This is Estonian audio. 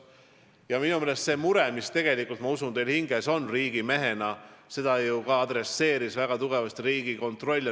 Ma usun, et teil kui riigimehel on see mure südamel, ja tegelikult viitas sellele murele väga tugevasti ka Riigikontroll.